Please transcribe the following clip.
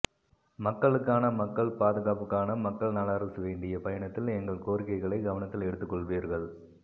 மக்களுக்கான மக்கள் பாதுகாப்புக்கான மக்கள் நல அரசு வேண்டிய பயணத்தில் எங்கள் கோரிக்கைகளைக் கவனத்தில் எடுத்துக் கொள்வீர்கள்